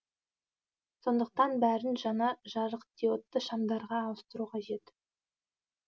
сондықтан бәрін жаңа жарық диодты шамдарға ауыстыру қажет